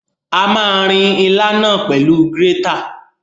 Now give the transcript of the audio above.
A ma rin ilá náà pẹ̀lú grétà.